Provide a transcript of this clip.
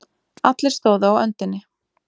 Allir stóðu á öndinni.